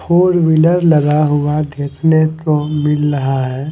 Four wheeler लगा हुआ देखने को मिल रहा है।